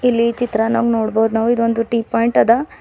ಇಲ್ಲಿ ಚಿತ್ರಾನಾಗ ನೋಡ್ಬೋದ್ ನಾವು ಇದೊಂದು ಟೀ ಪಾಯಿಂಟ್ ಅದ.